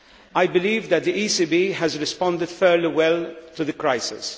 I believe that the ECB has responded fairly well to the crisis.